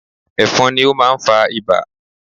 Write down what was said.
Ẹ̀fọ̀n ni ó máa ń fa Ibà